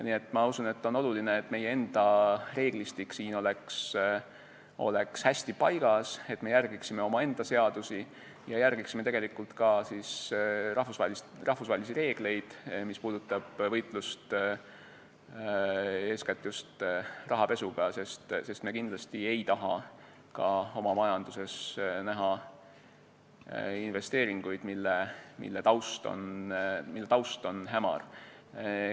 Nii et ma usun, et on oluline, et meie enda reeglistik siin oleks hästi paigas, et me järgiksime omaenda seadusi ja ka rahvusvahelisi reegleid, mis puudutavad võitlust eeskätt just rahapesuga, sest me kindlasti ei taha oma majanduses näha investeeringuid, mille taust on hämar.